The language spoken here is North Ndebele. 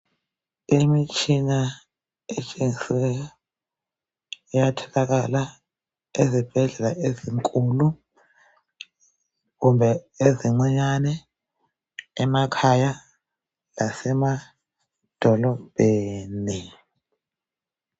Imitshina etshengisweyo iyatholakala ezibhedlela ezinkulu kumbe ezincinyane emakhaya lasemadolobheni